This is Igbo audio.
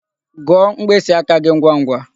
Gụọ mkpịsị aka gi ngwangwa!